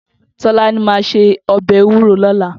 Tolani má sé òbè éwúró lòlá